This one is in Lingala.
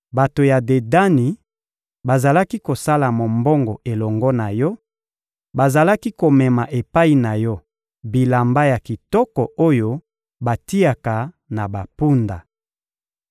Bato ya Dedani bazalaki kosala mombongo elongo na yo; bazalaki komema epai na yo bilamba ya kitoko oyo batiaka na bampunda.